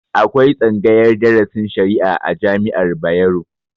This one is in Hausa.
Akwai tsaagayar drasin shari'a a jami'ar Bayero